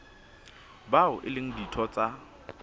bao e leng ditho tsa